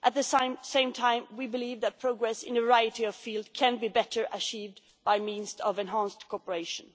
At the same time, we believe that progress in a variety of fields can be better achieved by means of enhanced cooperation.